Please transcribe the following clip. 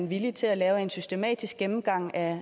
villig til at lave en systematisk gennemgang af